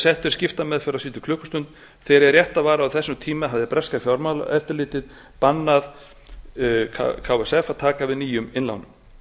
í skiptameðferð á síðustu klukkustund þegar hið rétta var að á þessum tíma hafði breska fjármálaeftirlitið bannað ksf að taka við nýjum innlánum